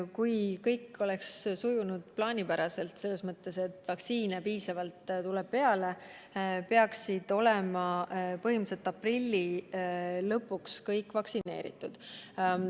Kui kõik sujub plaanipäraselt, just selles mõttes, et vaktsiine tuleb piisavalt peale, peaksid riskirühmad olema aprilli lõpuks vaktsineeritud.